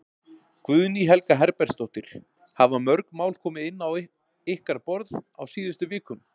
Guðný Helga Herbertsdóttir: Hafa mörg mál komið inn á ykkar borð á síðustu vikum?